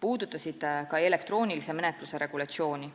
puudutasid ka elektroonilise menetluse regulatsiooni.